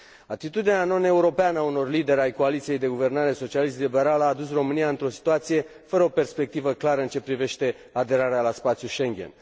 Atitudinea non europeană a unor lideri ai coaliției de guvernare socialist liberale a adus România într o situație fără o perspectivă clară în ceea ce privește aderarea la spațiul Schengen.